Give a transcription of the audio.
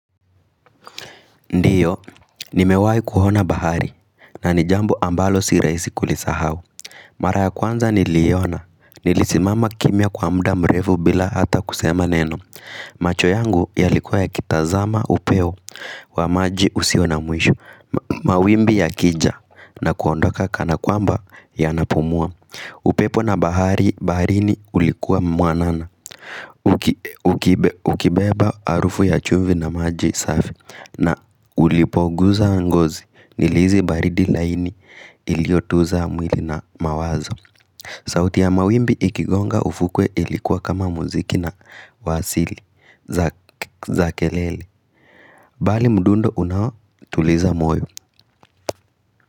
Ndiyo, nimewai kuhona bahari na nijambu ambalo si rahisi kulisahau. Mara ya kwanza ni liiona, nilisimama kimia kwa muda mrefu bila hata kusema neno macho yangu yalikuwa ya kitazama upewo wa maji usio na mwishu mawimbi ya kija na kuondoka kana kwamba ya napumua upepo na bahari, baharini ulikuwa mwanana Ukibeba arufu ya chumvi na maji safi na ulipoguza angozi nilizi baridi laini iliotuza mwili na mawazo sauti ya mawimbi ikigonga ufukwe ilikuwa kama muziki na wasili za kelele Bali mdundo unawo tuliza moyo.